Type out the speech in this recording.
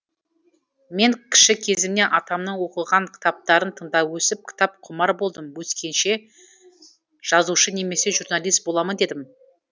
мен кіші кезімнен атамның оқыған кітаптарын тыңдап өсіп кітапқұмар болдым өскенде жазушы немесе журналист боламын дедім